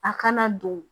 A kana don